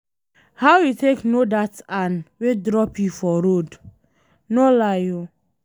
How you take no dat an wey drop you for road? No lie oo